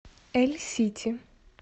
эльсити